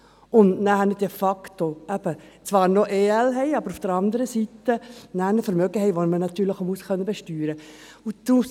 Diese haben dann auf der einen Seite de facto EL und auf der anderen Seite aber auch ein Vermögen, das auch besteuert werden können muss.